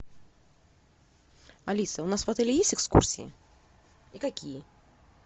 алиса у нас в отеле есть экскурсии и какие